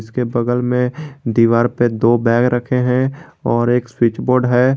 के बगल में दीवार पर दो बैग रखे हैं और एक स्विच बोर्ड है।